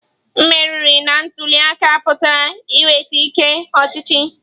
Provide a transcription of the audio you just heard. Mmeri na ntuli aka pụtara inweta ike ọchịchị.